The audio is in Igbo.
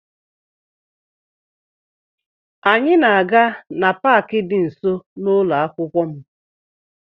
Anyị na-aga na Pááki dị nso na ụlọ akwụkwọ m